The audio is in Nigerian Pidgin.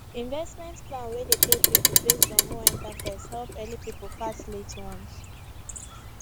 investment plan wey dey pay people based on who enter first help early people pass late ones